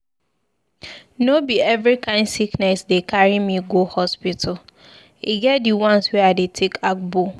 No be every kain sickness dey carry me go hospital, e get di ones wey I dey take agbo.